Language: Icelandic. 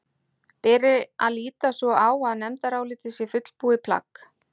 Beri að líta svo á að nefndarálitið sé fullbúið plagg?